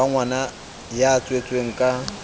wa ngwana ya tswetsweng ka